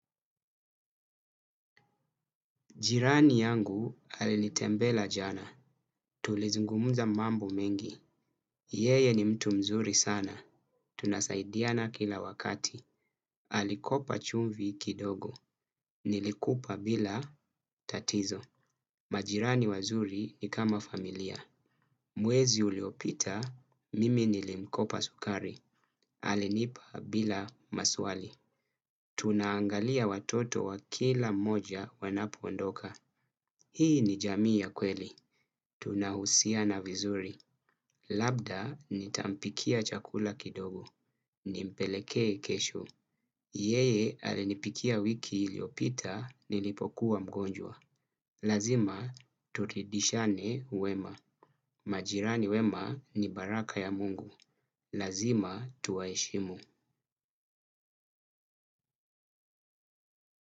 Jirani yangu alinitembela jana. Tulizungumza mambo mengi. Yeye ni mtu mzuri sana. Tunasaidiana kila wakati. Alikopa chumvi kidogo. Nilikupa bila tatizo. Majirani wazuri ni kama familia. Mwezi uliopita, mimi nilimkopa sukari. Alinipa bila maswali. Tunaangalia watoto wa kila mmoja wanapoondoka. Hii ni jamii ya kweli. Tunahusiana vizuri. Labda nitampikia chakula kidogo. Nimpelekee kesho. Yeye alinipikia wiki iliyopita nilipokuwa mgonjwa. Lazima turidishane wema. Majirani wema ni baraka ya mungu. Lazima tuwaheshimu.